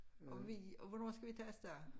Og vi og hvornår skal vi tage afsted